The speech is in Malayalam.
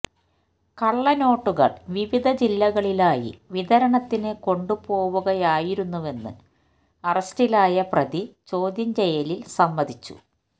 കള്ളനോട്ടുകള് വിവിധ ജില്ലകളിലായി വിതരണത്തിന് കൊണ്ടുപോകുകയായിരുന്നുവെന്ന് അറസ്റ്റിലായ പ്രതി ചോദ്യം ചെയ്യലില് സമ്മതിച്ചു